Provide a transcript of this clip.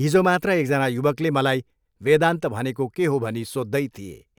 हिजोमात्र एकजना युवकले मलाई वेदान्त भनेको के हो भनी सोध्दै थिए।